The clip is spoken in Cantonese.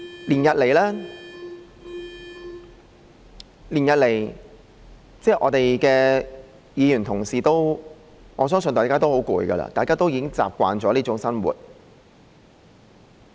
連日來，我相信我們的議員同事都很疲倦，大家已經習慣這種生活。